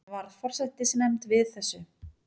Varð forsætisnefnd við þessu